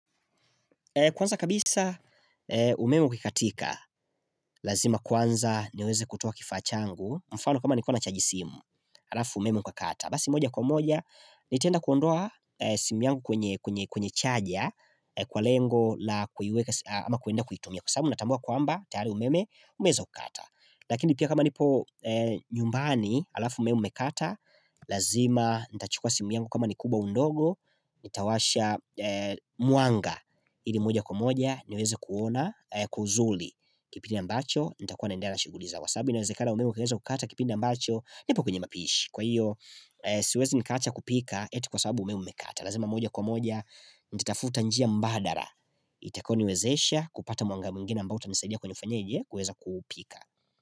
Kwanza kabisa umeme ukikatika, lazima kwanza niweze kutoa kifaa changu, mfano kama nilikuwa nachaji simu, alafu umeme ukakata. Basi moja kwa moja, nitaenda kuondoa simu yangu kwenye kwenye kwenye chaja, kwa lengo, la kuiweka si ama kuenda kuitumia, kwa sababu natambua kwamba, tayari umeme, umeza kata. Lakini pia kama nipo nyumbani alafu umeme umekata Lazima nita chukwa simu yangu kama ni kubwa au ndogo Nitawasha mwanga ili moja kwa moja niweze kuona kuzuli kipindi ambacho nitakuwa naendana shughuli za wa sababu iniwezekana umeme ukiweza ukata kipindi ambacho nipo kwenye mapishi Kwa hiyo siwezi nikaacha kupika eti kwa sababu umeme umekata lazima moja kwa moja nititafuta njia mbadara Itakoni wezesha kupata mwanga mwingine ambao utanisadia kwenye ufenyeje kuweza kupika.